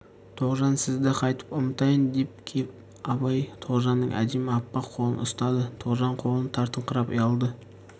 тоғжан сізді қайтіп ұмытайын деп кеп абай тоғжанның әдемі аппақ қолын ұстады тоғжан қолын тартыңқырап ұялды